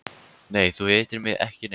Nei, þú hittir mig ekki neitt.